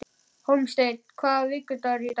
Hólmsteinn, hvaða vikudagur er í dag?